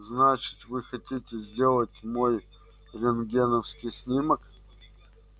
значит вы хотите сделать мой рентгеновский снимок